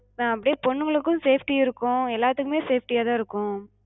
அஹ் அப்டியே பொண்ணுங்களுக்கு safety இருக்கு, எல்லாத்துக்குமே safety யாதா இருக்கு.